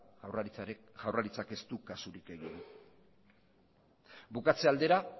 jaurlaritzak ez du kasurik egin bukatze aldera